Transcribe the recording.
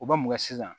U bɛ mun kɛ sisan